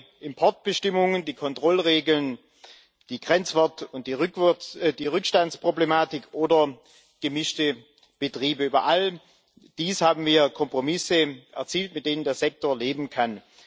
Ob neue Importbestimmungen, die Kontrollregeln, die Grenzwert und die die Rückstandsproblematik oder gemischte Betriebe, über all dies haben wir Kompromisse erzielt, mit denen der Sektor leben kann.